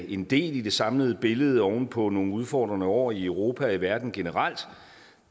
en del i det samlede billede oven på nogle udfordrende år i europa og i verden generelt